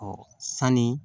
sanni